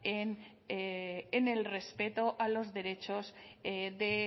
en el respeto a los derechos